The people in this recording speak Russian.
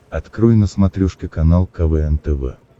открой на смотрешке канал квн тв